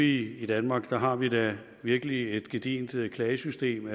i danmark har vi da virkelig et gedigent klagesystem